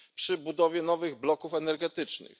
przy budowie nowych bloków energetycznych.